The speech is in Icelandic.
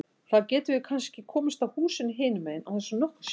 Þá getum við kannski komist að húsinu hinum megin án þess að nokkur sjái.